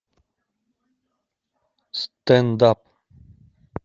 стэнд ап